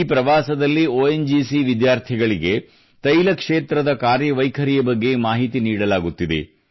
ಈ ಪ್ರವಾಸದಲ್ಲಿ ONGC ವಿದ್ಯಾರ್ಥಿಗಳಿಗೆ ತೈಲ ಕ್ಷೇತ್ರದ ಕಾರ್ಯವೈಖರಿಯ ಬಗ್ಗೆ ಮಾಹಿತಿ ನೀಡಲಾಗುತ್ತಿದೆ